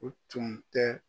O tun tɛ